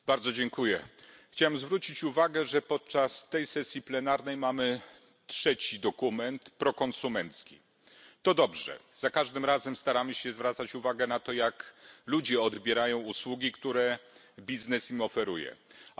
Pani Przewodnicząca! Chciałem zwrócić uwagę, że podczas tej sesji plenarnej mamy trzeci dokument prokonsumencki. To dobrze. Za każdym razem staramy się zwracać uwagę na to, jak ludzie odbierają usługi, które oferuje im biznes.